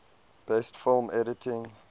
best film editing